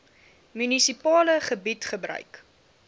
munisipale gebied gebruik